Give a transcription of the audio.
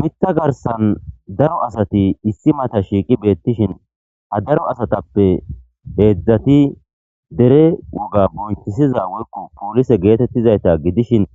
mitha garsan daro asati issi mata shiiqi beettishin ha daro asatappe heedzdzati dere woga boncisiza workku poolise geetettizayta gidishin